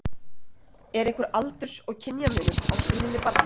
Er einhver aldurs- og kynjamunur á stríðni barna?